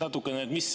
Mis võimalused mul on?